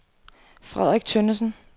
Frederik Tønnesen